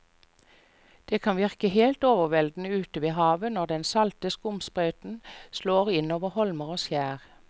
Det kan virke helt overveldende ute ved havet når den salte skumsprøyten slår innover holmer og skjær.